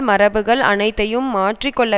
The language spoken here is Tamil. மரபுகள் அனைத்தையும் மாற்றி கொள்ள